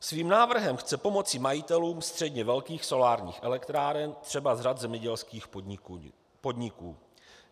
Svým návrhem chce pomoci majitelům středně velkých solárních elektráren třeba z řad zemědělských podniků.